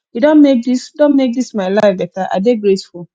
you don make dis don make dis my life beta i dey grateful